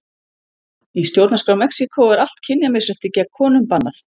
Í stjórnarskrá Mexíkó er allt kynjamisrétti gegn konum bannað.